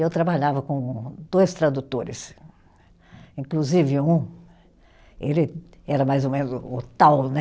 E eu trabalhava com dois tradutores, inclusive um, ele era mais ou menos o tal, né?